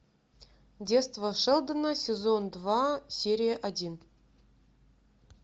детство шелдона сезон два серия один